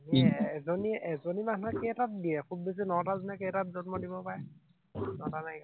এৰ এজনী মানুহে কেইটা দিয়ে, খুব বেছি নটা নে কেইটা জন্ম দিব পাৰে, নটা নে